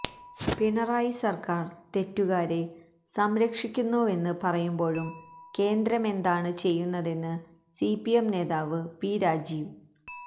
പിണറായി സര്ക്കാര് തെറ്റുകാരെ സംരക്ഷിക്കുന്നുവെന്ന് പറയുമ്പോഴും കേന്ദ്രമെന്താണ് ചെയ്യുന്നതെന്ന് സിപിഎം നേതാവ് പി രാജീവ്